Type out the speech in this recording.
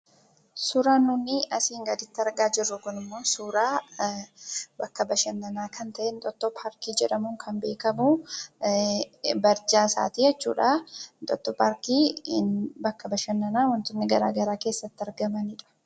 Suuraan nuti asiin gaditti argaa jirru kunimmoo suuraa bakka bashannanaa kan ta'e Inxooxxoo paarkii jedhamuun kan beekamu barjaa isaati jechuudha. Inxooxxoo paarkiin bakka bashannanaa wantoonni garaagaraa keessatti argaman jechuudha.